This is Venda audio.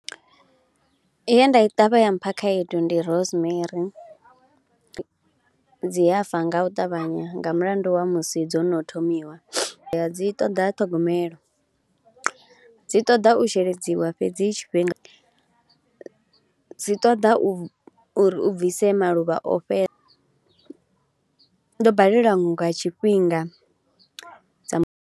Ye nda i ṱavha ya mpha khaedu ndi rosemarry, dzi a fa nga u ṱavhanya nga mulandu wa musi dzo no thomiwa, dzi ṱoḓa ṱhogomelo, dzi ṱoḓa u sheledziwa fhedzi tshifhinga, dzi ṱoḓa uri uri u bvise maluvha o fhe . Ndo balelwa nga tshifhinga dza mu .